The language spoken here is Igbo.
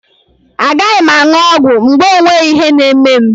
A gaghị m aṅụ ọgwụ mgbe o nweghị ihe na-eme m.